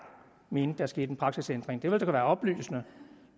mente der skete en praksisændring det ville da være oplysende